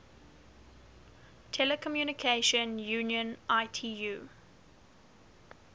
telecommunication union itu